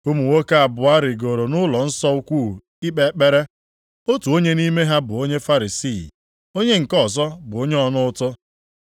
“Ụmụ nwoke abụọ rigoro nʼụlọnsọ ukwu ikpe ekpere, otu onye nʼime ha bụ onye Farisii, onye nke ọzọ bụ onye ọna ụtụ.